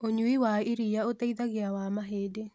Ũnyũĩĩ wa ĩrĩa ũteĩthagĩa wa mahĩndĩ